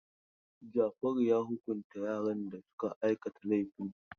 Jafaru ya hukunta yaran da suka aikata laifin.